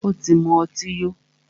Ó tí mú ọtí yó.